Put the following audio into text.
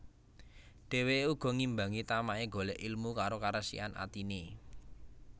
Dheweke uga ngimbangi tamake golek ilmu karo karesikan atine